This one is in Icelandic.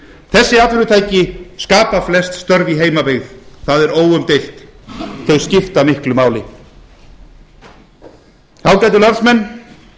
þessi atvinnutæki skapa flest störf í heimabyggð það er óumdeilt þau skipta miklu máli ágætu landsmenn